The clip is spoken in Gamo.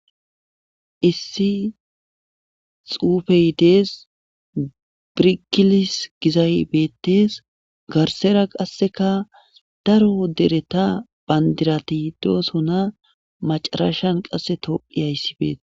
Issi xuufey dees birikilis gizay beettes garsera qasseka daro dereta bandiratidosona macarashan qasse toi hayssifeet.